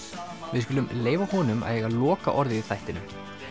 við skulum leyfa honum að eiga lokaorðið í þættinum